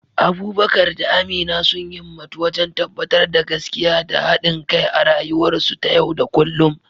Abubakar da Amina sun himmatu wajen tabbatar da gaskiya da haɗin kai a rayuwarsu ta yau da kullum.